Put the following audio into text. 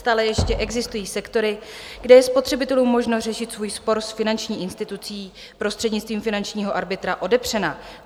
Stále ještě existují sektory, kde je spotřebitelům možnost řešit svůj spor s finanční institucí prostřednictvím finančního arbitra odepřena.